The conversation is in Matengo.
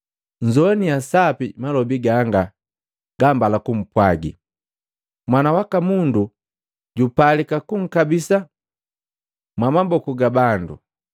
“Nnzowaniya sapi malobi ganga gambala kumpwaji! Mwana waka Mundu jupalika kunkabisa mwamaboku ga bandu.”